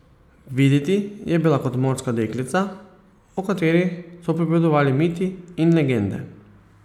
Videti je bila kot morska deklica, o katerih so pripovedovali miti in legende.